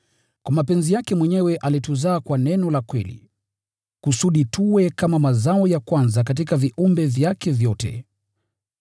Kwa mapenzi yake mwenyewe alituzaa kwa neno la kweli, kusudi tuwe kama mazao ya kwanza katika viumbe vyake vyote.